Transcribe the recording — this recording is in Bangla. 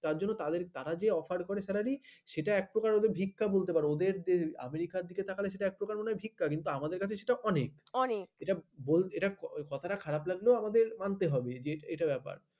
তার জন্য তারা যে অফার করে salary এটা একপ্রকার ভিক্ষা বলতে পারো ওদের দেশে আমেরিকার দিকে তাকালে এক প্রকার মনে হয় ভিক্ষা আমাদের কাছে এটা অনেক অনেক এটা বলতে এটা খারাপ লাগলো আমাদের মানতে হবে যে এটা ব্যাপার